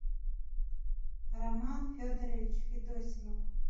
роман федорович федосимов